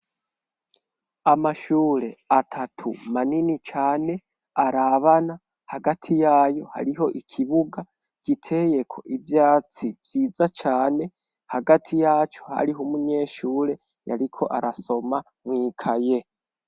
Amashure atatu manini cane arabana, hagati yayo hariho ikibuga giteyeko ivyatsi vyiza cane, hagati yaco hariho umunyeshure yariko arasoma mw'ikaye.